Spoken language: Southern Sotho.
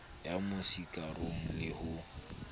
ya mo sikarong le ho